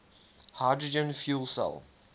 hydrogen fuel cell